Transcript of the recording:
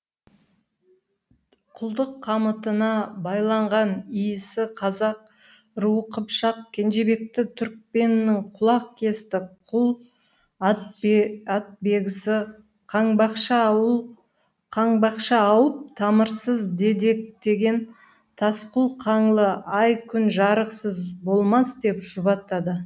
құлдық қамытына байланған иісі қазақ руы қыпшақ кенжебекті түркпеннің құлақ кесті құл атбегісі қаңбақша ауып тамырсыз дедектеген тасқұл қаңлы ай күн жарықсыз болмас деп жұбатады